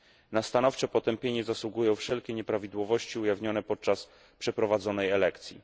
Na stanowcze potępienie zasługują wszelkie nieprawidłowości ujawnione podczas przeprowadzonej elekcji.